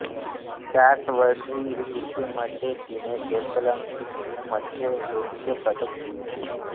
त्याच वर्षी तुर्कीमध्ये तिने डेफलिम्पिकमध्ये रौप्य पदक जिंकले